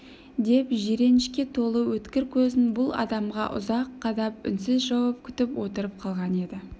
деп жиренішке толы өткір көзін бұл адамға ұзақ қадап үнсіз жауап күтіп отырып қалған еді